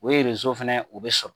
O fana o bɛ sɔrɔ